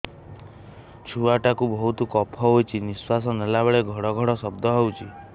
ଛୁଆ ଟା କୁ ବହୁତ କଫ ହୋଇଛି ନିଶ୍ୱାସ ନେଲା ବେଳେ ଘଡ ଘଡ ଶବ୍ଦ ହଉଛି